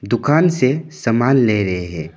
दुकान से सामान ले रहे हैं।